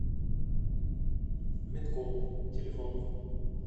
медком телефон